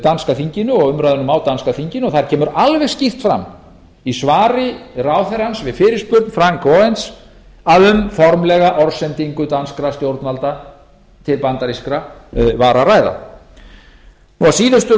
danska þinginu og umræðum á danska þinginu að þar kemur alveg skýrt í svari ráðherrans við fyrirspurn áfram aaens að um formlega orðsendingu danskra stjórnvalda til bandarískra var að ræða að síðustu